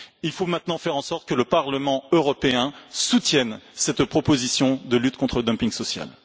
Il faut maintenant faire en sorte que le Parlement européen soutienne cette proposition de lutte contre le dumping social.